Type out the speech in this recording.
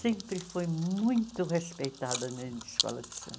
sempre foi muito respeitada na escola de samba.